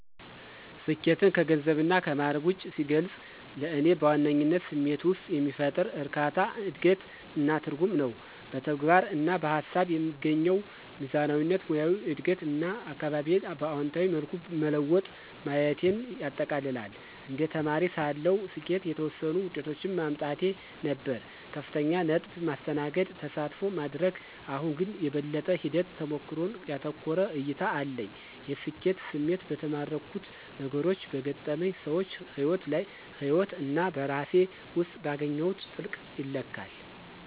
ስኬትን ከገንዘብና ከማዕረግ ውጭ ሲገልጽ፣ ለእኔ በዋነኝነት ስሜት ውስጥ የሚፈጠር እርካታ፣ እድገት እና ትርጉም ነው። በተግባር እና በሃሳብ የምትገኘው ሚዛናዊነት፣ ሙያዊ እድገት እና አካባቢዬን በአዎንታዊ መልኩ መለወጥ ማየቴን ያጠቃልላል። እንደ ተማሪ ሳለሁ፣ ስኬት የተወሰኑ ውጤቶችን ማምጣት ነበር - ከፍተኛ ነጥብ፣ ማስተናገድ፣ ተሳትፎ ማድረግ። አሁን ግን፣ የበለጠ ሂደት-ተሞክሮን ያተኮረ እይታ አለኝ። የስኬት ስሜት በተማርኩት ነገሮች፣ በገጠመኝ ሰዎች ህይወት እና በራሴ ውስጥ ባገኘሁት ጥልቀት ይለካል።